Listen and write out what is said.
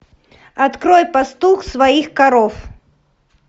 открой пастух своих коров